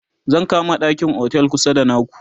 zan kama ɗakin otel kusa da naku